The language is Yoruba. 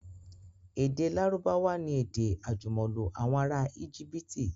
Èdè Lárúbáwá ni èdè àjùmọ̀lò àwọn ará Íjíbítì.